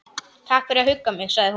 Takk fyrir að hugga mig- sagði hún.